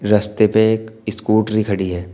रस्ते पे एक स्कूटरी खड़ी है।